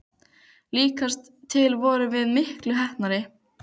Líkast til vorum við miklu heppnari.